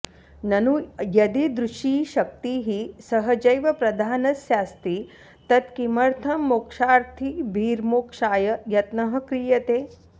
ननु यदीदृशी शक्तिः सहजैव प्रधानस्यास्ति तत् किमर्थं मोक्षार्थिभिर्मोक्षाय यत्नः क्रियते